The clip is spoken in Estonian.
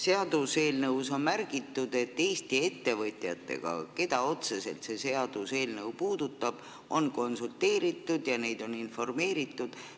Seaduseelnõus on märgitud, et Eesti ettevõtjatega, keda see seaduseelnõu otseselt puudutab, on konsulteeritud ja neid on informeeritud.